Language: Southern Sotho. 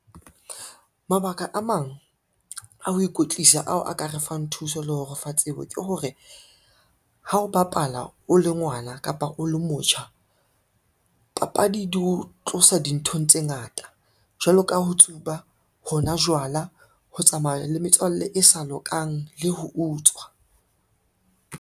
Mabaka a mang a ho ikwetlisa ao a ka re fang thuso le ho re fa tsebo ke hore, ha o bapala o le ngwana kapa o le motjha papadi di ho tlosa dinthong tse ngata. Jwalo ka ho tsuba, ho nwa jwala, ho tsamaya le metswalle e sa lokang le ho utswa.